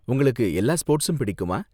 உங்களுக்கு எல்லா ஸ்போர்ட்ஸும் பிடிக்குமா?